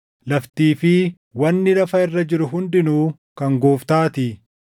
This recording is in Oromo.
“Laftii fi wanni lafa irra jiru hundinuu kan Gooftaatii.” + 10:26 \+xt Far 24:1\+xt*